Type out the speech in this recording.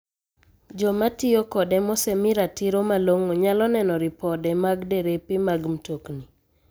Joma tiyo kode mosemii ratiro malong'o nyalo neno ripode mag derepe mag mtoni.